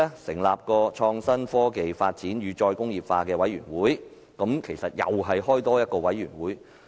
成立創新、科技發展與"再工業化"委員會，只是成立多一個委員會。